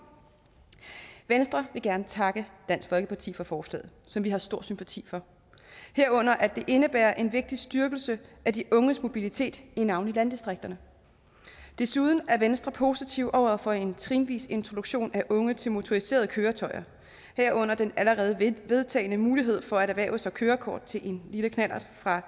venstre vil gerne takke dansk folkeparti for forslaget som vi har stor sympati for herunder at det indebærer en vigtig styrkelse af de unges mobilitet i navnlig landdistrikterne desuden er venstre positiv over for en trinvis introduktion af unge til motoriserede køretøjer herunder den allerede vedtagne mulighed for at erhverve sig kørekort til en lille knallert fra